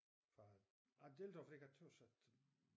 Jeg jeg deltager fordi jeg tøs at